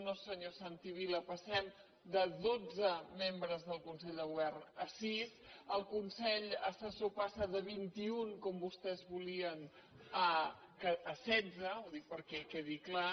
no senyor santi vila passem de dotze membres del consell de govern a sis el consell assessor passa de vint i un com vostès volien a setze ho dic perquè quedi clar